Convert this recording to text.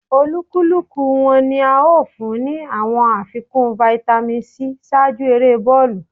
Olúkúlùkù wọ́n ní à o fún ni awọn àfikún Vitamin c ṣáájú èrè bọọlu